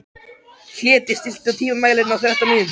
Hlédís, stilltu tímamælinn á þrettán mínútur.